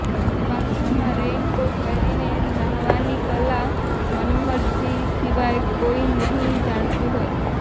બાથરૂમમાં રેઈનકોટ પહેરીને ન્હાવાની કલા મનમોહનજી સિવાય કોઈ નહીં જાણતું હોય